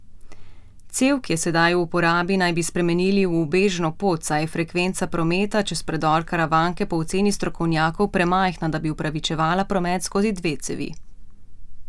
Cev, ki je sedaj v uporabi, naj bi spremenili v ubežno pot, saj je frekvenca prometa čez predor Karavanke po oceni strokovnjakov premajhna, da bi upravičevala promet skozi dve cevi.